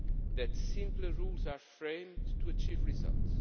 that simpler rules are framed to achieve results